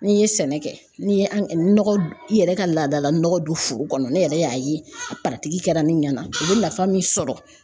N'i ye sɛnɛ kɛ ni an nɔgɔ i yɛrɛ ka laadala nɔgɔ don foro kɔnɔ ne yɛrɛ y'a ye a kɛra ne ɲɛna u be nafa min sɔrɔ